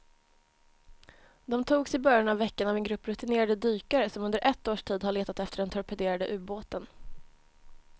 De togs i början av veckan av en grupp rutinerade dykare som under ett års tid har letat efter den torpederade ubåten.